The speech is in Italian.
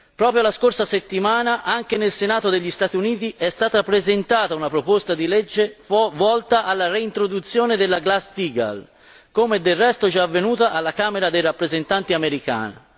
Proprio la scorsa settimana, anche nel Senato degli Stati Uniti è stata presentata una proposta di legge volta alla reintroduzione della Glass Steagall, come del resto già avvenuto alla Camera dei rappresentanti americana.